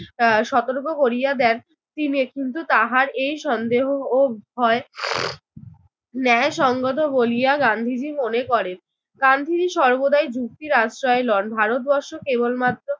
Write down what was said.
আহ সতর্ক করিয়া দেন তিনি। কিন্তু তাহার এই সন্দেহ ও ভয় ন্যায়সংগত বলিয়া গান্ধীজি মনে করেন। গান্ধীজি সর্বদাই যুক্তির আশ্রয় লন, ভারতবর্ষ কেবলমাত্র